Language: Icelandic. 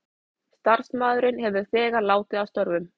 Starfsmaðurinn hefur þegar látið af störfum